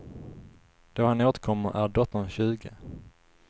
Då han återkommer är dottern tjugo.